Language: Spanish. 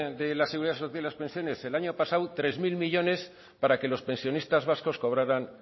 de la seguridad social y las pensiones el año pasado tres mil millónes para que los pensionistas vascos cobraran